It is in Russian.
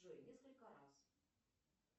джой несколько раз